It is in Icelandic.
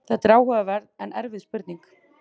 þetta er áhugaverð en erfið spurning